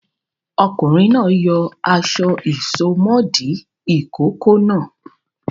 Ọkùnrin náà yọ aṣọ ìsomọ́ọ̀dí ìkókó náà.